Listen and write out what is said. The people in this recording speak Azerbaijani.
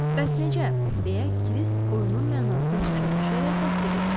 Bəs necə, deyə Kirisk oyunun mənasını başa düşərək təsdiq etdi.